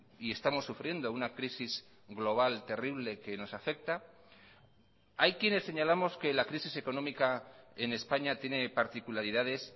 y estamos sufriendo una crisis global terrible que nos afecta hay quienes señalamos que la crisis económica en españa tiene particularidades